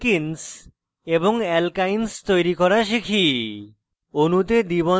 এখন alkenes এবং alkynes তৈরি করা শিখি